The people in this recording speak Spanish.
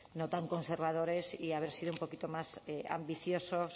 no tan conservadores y haber sido un poquito más ambiciosos